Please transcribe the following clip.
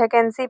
vacancy --